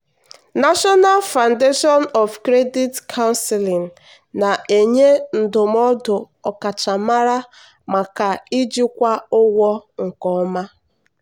national foundation of credit counseling na-enye ndụmọdụ ọkachamara maka ijikwa ụgwọ nke ọma.